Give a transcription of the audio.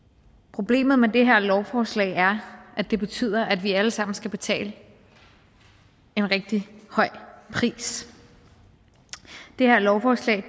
problemet med det her lovforslag er at det betyder at vi alle sammen skal betale en rigtig høj pris det her lovforslag